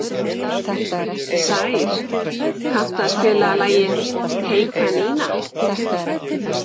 Sær, kanntu að spila lagið „Hey kanína“?